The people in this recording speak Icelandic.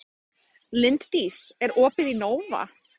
Linddís, er opið í Nova?